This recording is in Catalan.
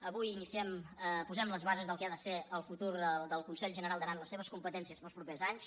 avui iniciem posem les bases del que ha de ser el futur del consell general d’aran les seves competències per als propers anys